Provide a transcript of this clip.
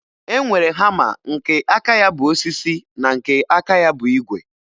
E nwere hama nke aka ya bụ osisi na nke aka ya bụ ígwè